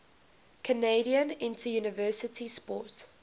canadian interuniversity sport